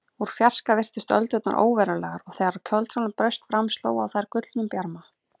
Úr fjarska virtust öldurnar óverulegar og þegar kvöldsólin braust fram sló á þær gullnum bjarma.